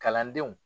Kalandenw